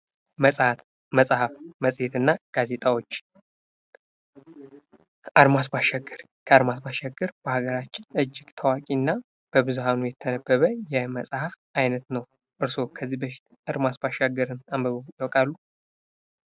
መጽሃፍ፣ መጽሄት እና ጋዜጣዎች፦ ከአድማስ በአሻገር፦ ከአድማስ በአሻገር በሀገራችን እጂግ ታዋቂ እና በብዙሃኑ የተነበበ የመጽሃፍ አይነት ነው። እርስዎስ ከዚህ በፊት ከአድማስ ባሻገር አንብበው ያቃሉ?